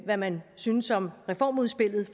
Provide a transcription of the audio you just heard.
hvad man syntes om reformudspillet